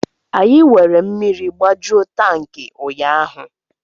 Anyị were mmiri gbajuo tankị ụnyaahụ